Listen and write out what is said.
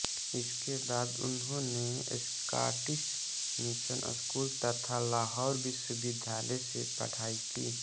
उसके बाद उन्होंने स्कॉटिश मिशन स्कूल तथा लाहौर विश्वविद्यालय से पढ़ाई की